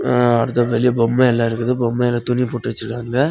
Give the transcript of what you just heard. அ அடுத்து வெளிய பொம்மைலாம் இருக்குது பொம்மைல துணி போட்டு வச்சிருக்காங்க.